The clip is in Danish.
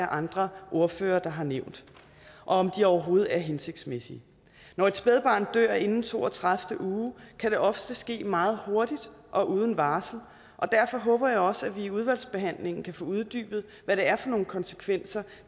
andre ordførere har nævnt og om de overhovedet er hensigtsmæssige når et spædbarn dør inden to og tredive uge kan det ofte ske meget hurtigt og uden varsel og derfor håber jeg også at vi i udvalgsbehandlingen kan få uddybet hvad det er for nogle konsekvenser